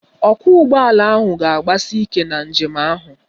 Ọkwọụgbọala ahụ ga-agbasi ike na njem ahụ